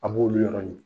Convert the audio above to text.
An b'olu yɔrɔ ɲini